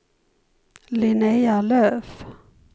Linnéa Löf